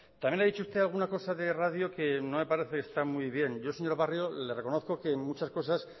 también ha dicho usted alguna cosa de radio que no me parece que está muy bien yo señor barrio le reconozco que en muchas cosas